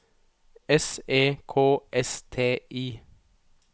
S E K S T I